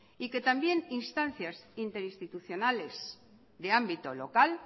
y que también instancias interinstitucionales de ámbito local